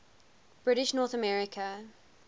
british north america